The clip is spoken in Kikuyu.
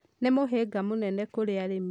nĩ mũhĩnga mũnene kũrĩ arĩmi.